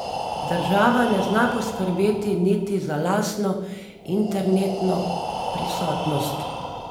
Država ne zna poskrbeti niti za lastno internetno prisotnost.